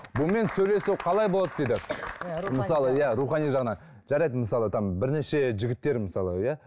бұнымен сөйлесу қалай болады дейді мысалы иә рухани жағынан жарайды мысалы там бірнеше жігіттер мысалы иә